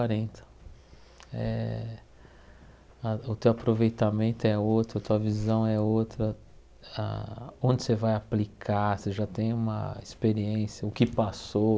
eh a O teu aproveitamento é outro, a tua visão é outra, ah onde você vai aplicar, você já tem uma experiência, o que passou,